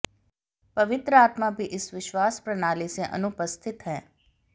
पवित्र आत्मा भी इस विश्वास प्रणाली से अनुपस्थित है